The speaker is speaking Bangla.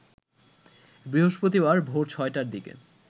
বৃহস্পতিবার ভোর ৬টার দিকে